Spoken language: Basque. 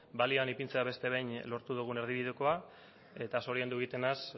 balioan ipintzean beste behin lortu dugun erdibidekoa eta zoriondu egiten naiz